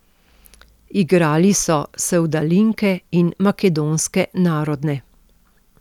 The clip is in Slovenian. Igrali so sevdalinke in makedonske narodne.